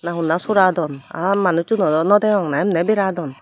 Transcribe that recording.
na honna soradon aa manucchuno no degong na emne beradon.